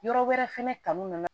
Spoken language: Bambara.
Yɔrɔ wɛrɛ fɛnɛ kanu nana